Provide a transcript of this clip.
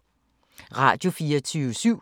Radio24syv